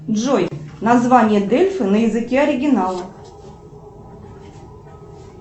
джой название дельфи на языке оригинала